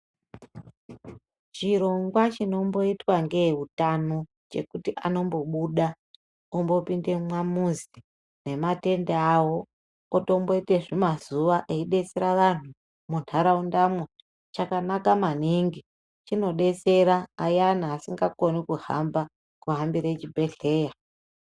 Chirongwa chinomboitwa ngeeutano chekuti anombibuda ombopinde mumamuzi nematende awo otomboite zvimazuwa eidetsera vantu muntaraundamwo chakanaka maningi chinodtsera ayani asingakoni kuhamba, kuhambire chibhedhleya.